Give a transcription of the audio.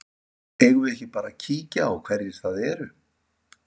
Eigum við ekki bara að kíkja á hverjir það eru?